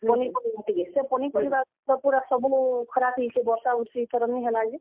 ପନିପରିବା କେ, ସେ ପନିପରିବା ଇଥର ସବୁ ଖରାପ ହେଇଯାଇଛେ ।ବର୍ଷା ବୁର୍ ଷି ଇଥର ନି ହେଲା ଯେ।